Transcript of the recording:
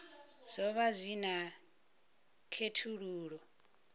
zwo vha zwi na khethululoe